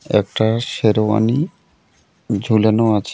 একটা শেরওয়ানি ঝুলানো আছে.